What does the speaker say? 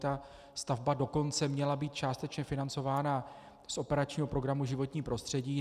Ta stavba dokonce měla být částečně financována z operačního programu Životní prostředí.